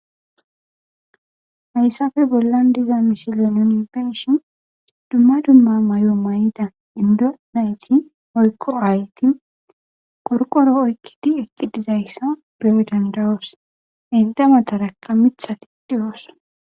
Hayssafe bollan diza mishile nuniubeshin dumma dumma mayo mayda indo nayti oykko ayti korqoro oykkidi ekki dizayssa bero dandawoos inde mataraka mithati diyooso.